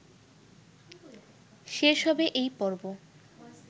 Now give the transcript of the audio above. শেষ হবে এই পর্ব